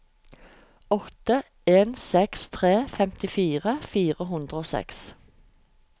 åtte en seks tre femtifire fire hundre og seks